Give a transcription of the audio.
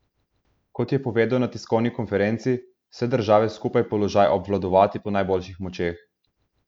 Kot je povedal na tiskovni konferenci, vse države skupaj položaj obvladovati po najboljših močeh.